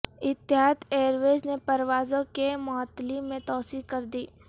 اتحاد airways نے پروازوں کی معطلی میں توسیع کر دی